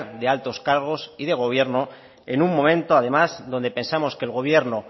de altos cargos y de gobierno en un momento además donde pensamos que el gobierno